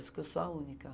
Acho que eu sou a única.